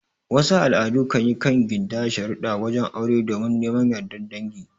Wasu al'adu kanyi kan gindaya sharudda wajen aure domin neman yardar dangi